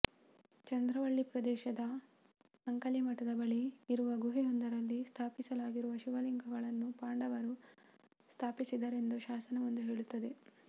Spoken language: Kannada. ಚಂದ್ರವಳ್ಳಿ ಪ್ರದೇಶದ ಅಂಕಲಿಮಠದ ಬಳಿ ಇರುವ ಗುಹೆಯೊಂದರಲ್ಲಿ ಸ್ಥಾಪಿಸಲಾಗಿರುವ ಶಿವಲಿಂಗಗಳನ್ನು ಪಾಂಡವರು ಸ್ಥಾಪಿಸಿದರೆಂದು ಶಾಸನವೊಂದು ಹೇಳುತ್ತದೆ